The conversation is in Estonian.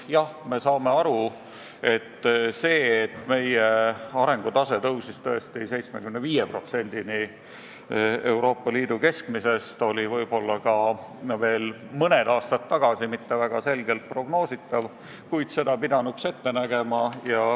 Jah, me saame aru, et see, et meie arengutase tõuseb tõesti 75%-ni Euroopa Liidu keskmisest, oli võib-olla mõned aastad tagasi mitte väga selgelt prognoositav, kuid seda pidanuks ette nägema.